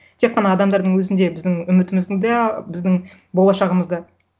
тек қана адамдардың өзінде біздің үмітіміздің де біздің болашағымыз да